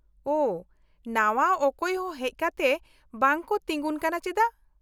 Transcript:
-ᱳᱦᱚ, ᱱᱟᱣᱟ ᱚᱠᱚᱭ ᱦᱚᱸ ᱦᱮᱡ ᱠᱟᱛᱮ ᱵᱟᱝ ᱠᱚ ᱛᱤᱸᱜᱩᱱ ᱠᱟᱱᱟ ᱪᱮᱫᱟ ?